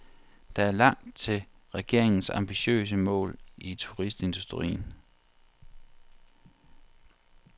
Der er langt til regeringens ambitiøse mål for turistindustrien.